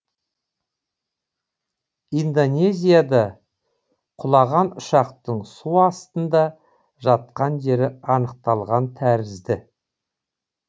индонезияда құлаған ұшақтың су астында жатқан жері анықталған тәрізді